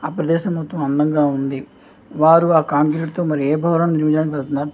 ఆ ప్రదేశం మొత్తము అందంగా ఉంది వారు ఆ కాంక్రీట్ తో మరి ఎ భవనం నిర్మించడానికి వెళ్తున్నార్ --